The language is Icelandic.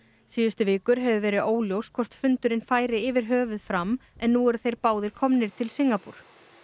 síðustu vikur hefur verið óljóst hvort fundurinn færi yfir höfuð fram en nú eru þeir báðir komnir til Singapúr